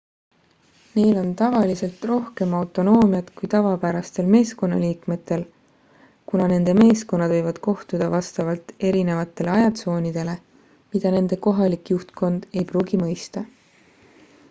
neil on tavaliselt rohkem autonoomiat kui tavapärastel meeskonnaliikmetel kuna nende meeskonnad võivad kohtuda vastavalt erinevatele ajatsoonidele mida nende kohalik juhtkond ei pruugi mõista